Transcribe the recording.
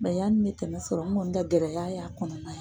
yanni n mɛ tɛmɛ sɔrɔ n kɔni ka gɛrɛya y'a kɔnɔna